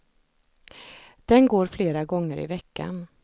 Den går flera gånger i veckan.